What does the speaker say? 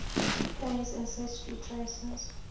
pei's ancestry traces